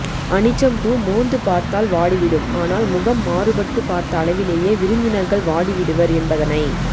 அனிச்சப்பூ மோந்து பார்த்தால் வாடிவிடும் ஆனால் முகம் மாறுபட்டுப் பார்த்த அளவிலேயே விருந்தினர்கள் வாடிவிடுவர் என்பதனை